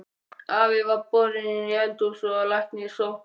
Afi var borinn inn í hús og læknir sóttur.